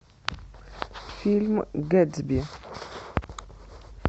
фильм гэтсби